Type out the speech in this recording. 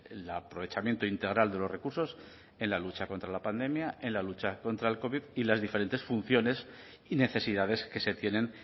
el aprovechamiento integral de los recursos en la lucha contra la pandemia en la lucha contra el covid y las diferentes funciones y necesidades que se tienen